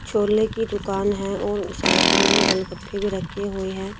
छोले की दुकान है और साइड में गोल-गप्पे भी रखी हुए हैं।